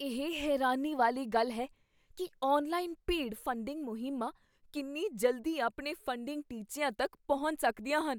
ਇਹ ਹੈਰਾਨੀ ਵਾਲੀ ਗੱਲ ਹੈ ਕੀ ਔਨਲਾਈਨ ਭੀੜ ਫੰਡਿੰਗ ਮੁਹਿੰਮਾਂ ਕਿੰਨੀ ਜਲਦੀ ਆਪਣੇ ਫੰਡਿੰਗ ਟੀਚਿਆਂ ਤੱਕ ਪਹੁੰਚ ਸਕਦੀਆਂ ਹਨ।